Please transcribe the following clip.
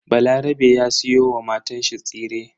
Balarabe ya siyo wa matanshi tsire.